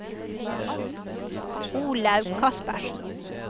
Olaug Kaspersen